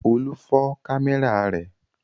Olú fọ́ kámẹ́rà rẹ̀.